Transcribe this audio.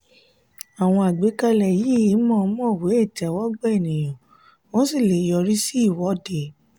àwọn àgbékalẹ̀ yìí mò mò wé ìtẹ́wọ́gbà ènìyàn ó sì lè yọri sí ìwọ́de.